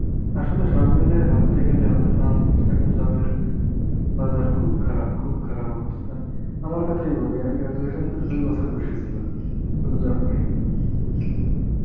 আসলে সব মিলিয়ে ভাবতে গেলে আমাদের বাংলাদেশে এখন job এর, বাজার খুব খারাপ, খুব খারাপ অবস্থা. আমার কথাই বলি আমি graduation করে দুই বছর বসেছিলাম, কোনো job পায়নি আমি.